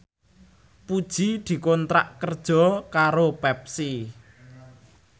Puji dikontrak kerja karo Pepsi